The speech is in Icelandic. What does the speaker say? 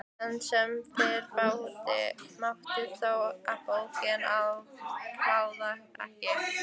Enn sem fyrr mátti þó bóka að hann klagaði ekki.